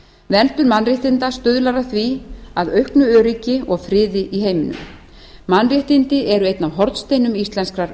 verndun mannréttinda stuðlar að því að auknu öryggi og friði í heiminum mannréttindi eru einn af hornsteinum íslenskrar